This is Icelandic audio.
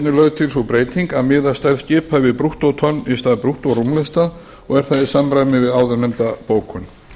lögð til sú breyting að miða stærð skipa við brúttótonn í stað brúttórúmlesta og er það í samræmi við áðurnefnda bókun